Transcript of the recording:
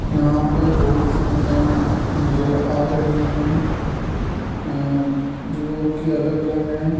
यहां पे बहुत सी दुकान नजर आ रही है अह जो कि अलग-अलग है।